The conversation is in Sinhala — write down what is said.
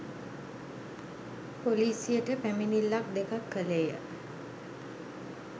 පොලිසියට පැමිණිල්ලක්‌ දෙකක්‌ කළේය